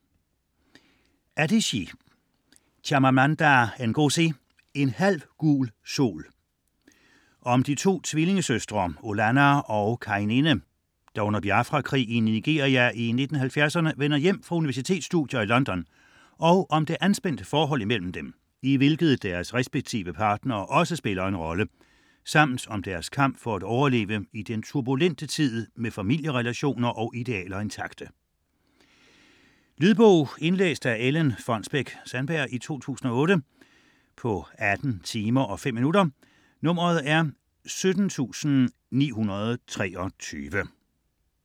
Adichie, Chimamanda Ngozi: En halv gul sol Om de to tvillingesøstre Olanna og Kainene, der under Biafra-krigen i Nigeria i 1960'erne vender hjem fra universitetsstudier i London og om det anspændte forhold imellem dem, i hvilket deres respektive partnere også spiller en rolle, samt om deres kamp for at overleve i den turbulente tid med familierelationer og idealer intakte. Lydbog 17923 Indlæst af Ellen Fonnesbech-Sandberg, 2008. Spilletid: 18 timer, 5 minutter.